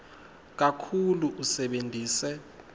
kakhulu usebentise